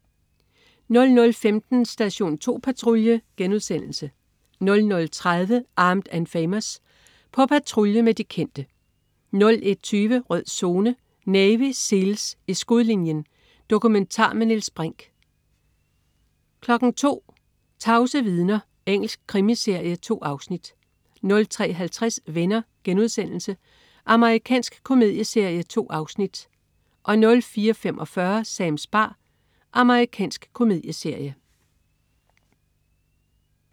00.15 Station 2 Patrulje* 00.30 Armed & Famous. På patrulje med de kendte 01.20 Rød Zone: Navy SEALs. I skudlinjen. Dokumentar med Niels Brinch 02.00 Tavse vidner. Engelsk krimiserie. 2 afsnit 03.50 Venner.* Amerikansk komedieserie. 2 afsnit 04.45 Sams bar. Amerikansk komedieserie